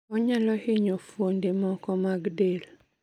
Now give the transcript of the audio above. Onyalo hinyo fuonde moko mag del